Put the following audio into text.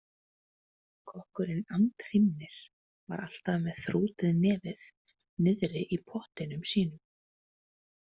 Kokkurinn Andhrímnir var alltaf með þrútið nefið niðri í pottinum sínum.